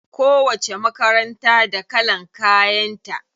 Kowacce makaranta da kalan kayan ta.